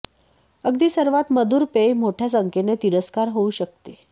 अगदी सर्वात मधुर पेय मोठ्या संख्येने तिरस्कार होऊ शकते